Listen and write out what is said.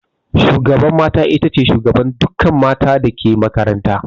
Shugaban mata itace shugaban dukkan mata dake makaranta